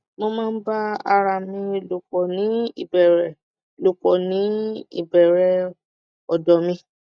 mo ma n ba arami lòpọ̀ ni ìbẹ̀rẹ̀ lòpọ̀ ní ìbẹ̀rẹ̀ ọ̀dọ̀ mi